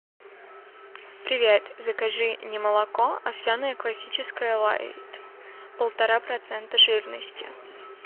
привет закажи немолоко овсяное классическое лайт полтора процента жирности